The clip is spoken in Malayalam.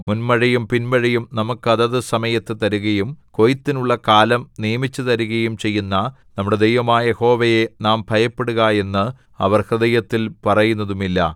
മുന്മഴയും പിന്മഴയും നമുക്ക് അതത് സമയത്തു തരുകയും കൊയ്ത്തിനുള്ള കാലം നിയമിച്ചുതരുകയും ചെയ്യുന്ന നമ്മുടെ ദൈവമായ യഹോവയെ നാം ഭയപ്പെടുക എന്ന് അവർ ഹൃദയത്തിൽ പറയുന്നതുമില്ല